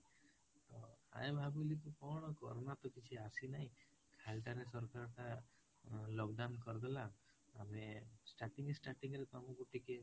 ତ ଆମେ ଭାବିଲେ କଣ corona ତ କିଛି ଆସି ନାହିଁ, ଖାଲିଟାରେ ସରକାରଟା ଅ lockdown କରିଦେଲା, ଆମେ starting starting ରେ ତ ଆମେକୁ ଟିକେ